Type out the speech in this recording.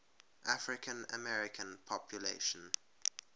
african american population